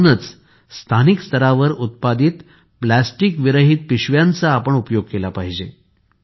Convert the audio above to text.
म्हणूनच आपण स्थानिक स्तरावर उत्पादित प्लास्टिक विरहित पिशव्यांचा आपण उपयोग केला पाहिजे